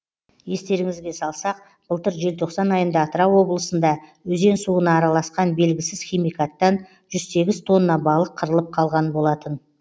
естеріңізге салсақ былтыр желтоқсан айында атырау облысында өзен суына араласқан белгісіз химикаттан жүз сегіз тонна балық қырылып қалған болатын